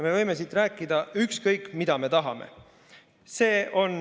Me võime siit rääkida ükskõik mida, seda, mida me tahame.